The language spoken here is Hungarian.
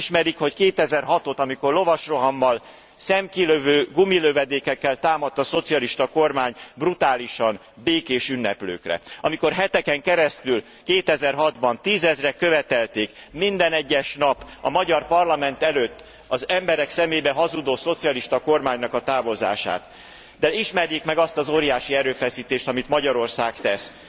Önök nem ismerik, hogy 2006 ot, amikor lovasrohammal, szemkilövő gumilövedékekkel támadt a szocialista kormány brutálisan békés ünneplőkre, amikor heteken keresztül 2006 ban tízezrek követelték minden egyes nap a magyar parlament előtt az emberek szemébe hazudó szocialista kormánynak a távozását, de ismerjék meg azt az óriási erőfeszítést, amit Magyarország tesz.